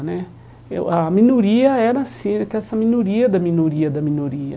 Né eu A minoria era assim, que essa minoria da minoria da minoria.